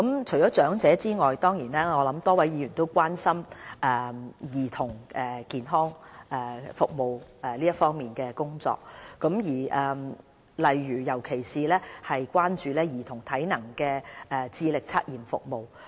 除長者外，多位議員亦關心兒童健康服務方面的工作，尤其是關注兒童體能智力測驗服務。